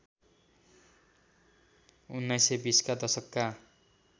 १९२० का दशकका